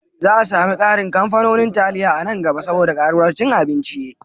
Za a sami ƙarin kamfanonin taliya a nan gaba saboda ƙaruwar cin abincin.